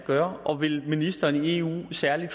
gøre og vil ministeren i eu i særlig